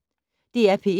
DR P1